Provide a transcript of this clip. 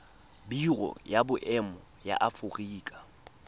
biro ya boemo ya aforika